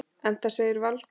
Enda segir Valtýr